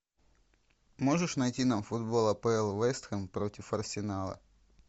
можешь найти нам футбол апл вест хэм против арсенала